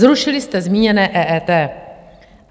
Zrušili jste zmíněné EET.